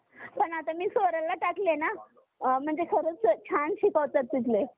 जेव्हा आपण लहान होतो तर, आपण बघितलं असेल कि बरोबर अं म्हणजे एक चार-चार महिन्याचा हिवाळा, मग उन्हाळा, मग पावसाळा असे असायचे पण आत्ता असं नाही